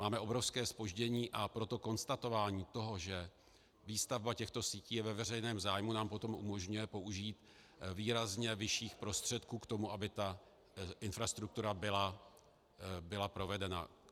Máme obrovské zpoždění, a proto konstatování toho, že výstavba těchto sítí je ve veřejném zájmu, nám potom umožňuje použít výrazně vyšších prostředků k tomu, aby ta infrastruktura byla provedena.